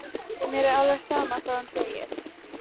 Mér er alveg sama hvað hún segir.